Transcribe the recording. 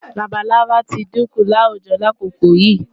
Labalábá tí dínkù láwùjo lákòókò yìí.